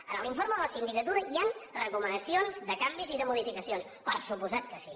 en l’informe de la sindicatura hi han recomanacions de canvis i de modificacions per descomptat que sí